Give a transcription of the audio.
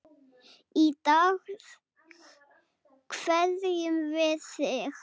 Í dag kveðjum við þig.